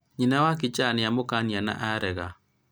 nyina wa kicha nĩ amũkania na arega